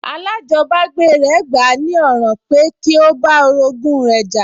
Alájọbágbé rẹ̀ gbà á ní ọ̀ràn pẹ́ kí ó bá orogún rẹ̀ jà